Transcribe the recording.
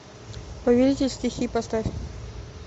повелитель стихий поставь